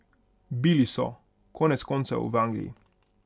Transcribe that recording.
Bili so, konec koncev, v Angliji.